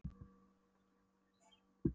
Við kynntumst í afmæli, sagði Sveinn þungbúinn.